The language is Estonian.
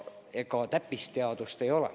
Ega see täppisteadus ei ole.